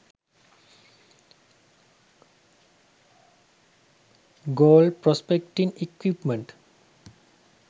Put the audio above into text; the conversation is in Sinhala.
gold prospecting equipment